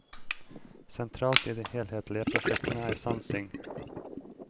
Sentralt i de helhetlige prosjektene er sansing.